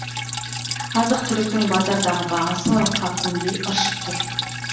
азық түліктің базардағы бағасы ырыққа көнбей ыршып тұр